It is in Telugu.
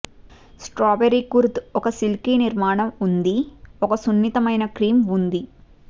స్ట్రాబెర్రీ కుర్ద్ ఒక సిల్కీ నిర్మాణం ఉంది ఒక సున్నితమైన క్రీమ్ ఉంది